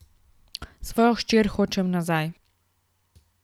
Svojo hčer hočem nazaj.